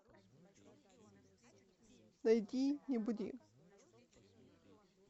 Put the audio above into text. найди не буди